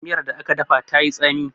miyar da aka dafa ta yi tsami